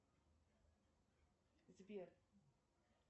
сбер